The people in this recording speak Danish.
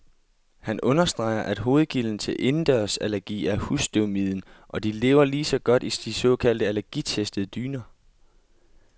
Han understreger, at hovedkilden til indendørsallergi er husstøvmiden, og de lever lige så godt i de såkaldt allergitestede dyner.